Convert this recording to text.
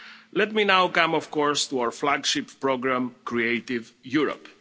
Let me now come, of course, to our flagship programme Creative Europe.